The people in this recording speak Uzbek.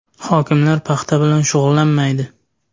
Hokimlar paxta bilan shug‘ullanmaydi.